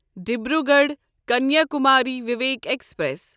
Dibrugarh Kanyakumari Vivek express